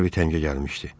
Harvi təngə gəlmişdi.